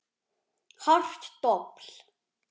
Hart dobl.